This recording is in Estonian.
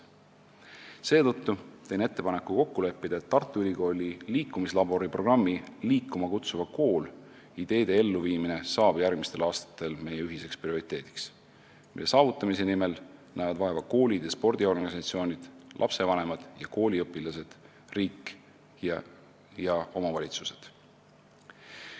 Seetõttu teen ettepaneku kokku leppida, et Tartu Ülikooli liikumislabori programmi "Liikuma kutsuv kool" ideede elluviimisest saab järgmistel aastatel meie ühine prioriteet, mille saavutamise nimel näevad vaeva koolid ja spordiorganisatsioonid, lapsevanemad ja kooliõpilased, riik ja omavalitsused.